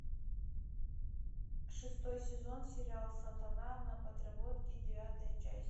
шестой сезон сериал сатана на подработке девятая часть